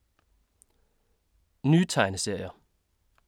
Nye tegneserier